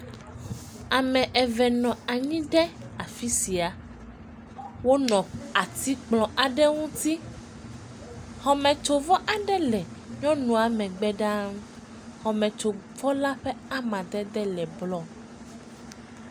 Ame eve nɔ anyi ɖe afi sia. Wonɔ atikplɔ aɖe ŋuti. Xɔmetsovɔ aɖe le nyɔnua megbe ɖa. Xɔmetsovɔla ƒe amadede le blɔ.